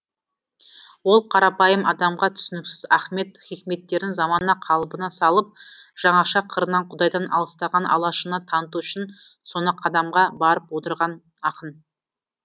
ол қарапайым адамға түсініксіз ахмед хикметтерін замана қалыбына салып жаңаша қырынан құдайдан алыстаған алашына таныту үшін соны қадамға барып отырған ақын